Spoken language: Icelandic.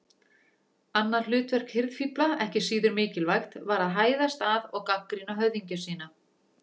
Annað hlutverk hirðfífla, ekki síður mikilvægt, var að hæðast að og gagnrýna höfðingja sína.